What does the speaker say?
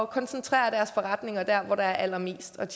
koncentrere deres forretninger der hvor der er allermest at